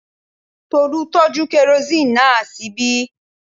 Tolú tọ́jú kerosini náà ṣíbí